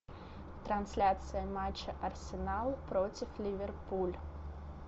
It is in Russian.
трансляция матча арсенал против ливерпуль